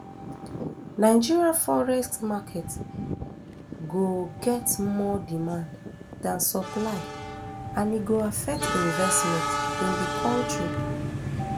nigeria forex market go get more demand dan supply and e go affect investment in di kontri